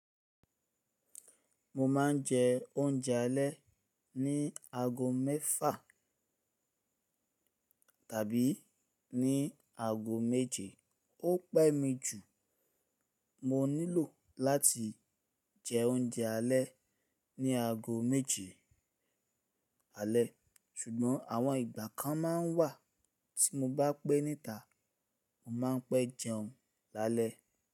Mo ma n je ounje ale ni aago mẹfa tabi ni aago meje. O pe mi ju. Mo nilo lati jẹ oúnjẹ alé ni aago méje alé. Sugbon àwọn ìgbà kan ma n wa tí mo bá pẹ́ níta, mo ma n pẹ jẹun lálẹ́